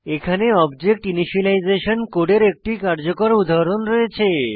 এখানে object initialisation কোডের একটি কার্যকর উদাহরণ রয়েছে